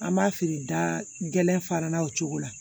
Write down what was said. An b'a feere da gɛlɛn fara na o cogo la